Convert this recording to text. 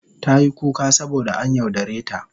Tayi kuka saboda an yaudare ta.